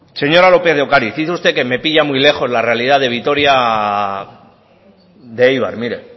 señora lópez de ocariz dice usted que me pilla muy lejos la realidad de vitoria de eibar mire